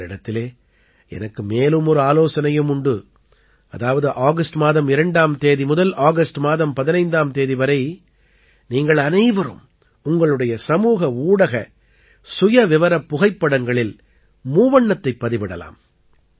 உங்களிடத்திலே எனக்கு மேலும் ஒரு ஆலோசனையும் உண்டு அதாவது ஆகஸ்ட் மாதம் 2ஆம் தேதி முதல் ஆகஸ்ட் மாதம் 15ஆம் தேதி வரை நீங்கள் அனைவரும் உங்களுடைய சமூக ஊடக சுயவிவரப் புகைப்படங்களில் மூவண்ணத்தைப் பதிவிடலாம்